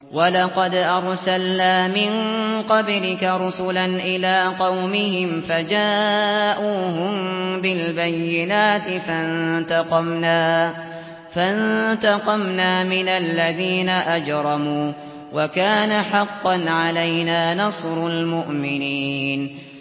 وَلَقَدْ أَرْسَلْنَا مِن قَبْلِكَ رُسُلًا إِلَىٰ قَوْمِهِمْ فَجَاءُوهُم بِالْبَيِّنَاتِ فَانتَقَمْنَا مِنَ الَّذِينَ أَجْرَمُوا ۖ وَكَانَ حَقًّا عَلَيْنَا نَصْرُ الْمُؤْمِنِينَ